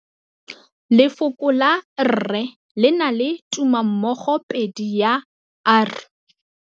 Lefoko la rre le na le tumammogôpedi ya, r.